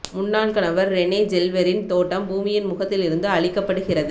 முன்னாள் கணவர் ரெனே ஜெல்வெர்ரின் தோட்டம் பூமியின் முகத்தில் இருந்து அழிக்கப்படுகிறது